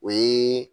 O ye